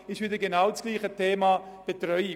Es geht um Ferienbetreuung.